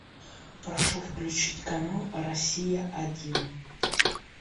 прошу включить канал россия один